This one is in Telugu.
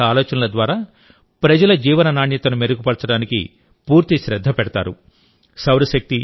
ఇందులోవివిధ ఆలోచనల ద్వారా ప్రజల జీవన నాణ్యతను మెరుగుపరచడానికి పూర్తి శ్రద్ధ పెడతారు